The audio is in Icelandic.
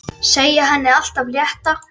Segja henni allt af létta.